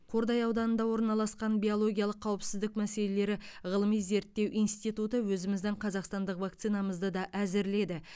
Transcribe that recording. қордай ауданында орналасқан биологиялық қауіпсіздік мәселелері ғылыми зерттеу институты өзіміздің қазақстандық вакцинамызды да әзірледі